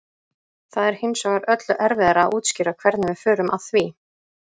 Það er hins vegar öllu erfiðara að útskýra hvernig við förum að því.